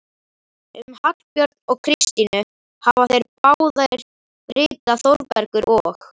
Um Hallbjörn og Kristínu hafa þeir báðir ritað, Þórbergur og